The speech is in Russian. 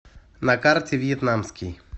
на карте вьетнамский